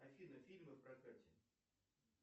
афина фильмы в прокате